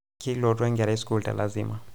kiloitu enkerai sukul telazima